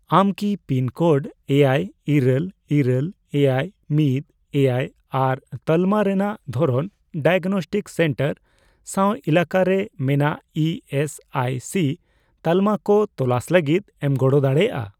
ᱟᱢ ᱠᱤ pin code ᱮᱭᱟᱭ, ᱤᱨᱟᱹᱞ, ᱤᱨᱟᱹᱞ, ᱮᱭᱟᱭ ,ᱢᱤᱫ, ᱮᱭᱟᱭ ᱟᱨ ᱛᱟᱞᱢᱟ ᱨᱮᱱᱟᱜ ᱫᱷᱚᱨᱚᱱ ᱰᱟᱭᱟᱜᱽᱱᱚᱥᱴᱤᱠ ᱥᱮᱱᱴᱟᱨ ᱥᱟᱶ ᱮᱞᱟᱠᱟᱨᱮ ᱢᱮᱱᱟᱜ ᱤ ᱮᱥ ᱟᱭ ᱥᱤ ᱛᱟᱞᱢᱟ ᱠᱚ ᱛᱚᱞᱟᱥ ᱞᱟᱹᱜᱤᱫ ᱮᱢ ᱜᱚᱲᱚ ᱫᱟᱲᱮᱭᱟᱜᱼᱟ ?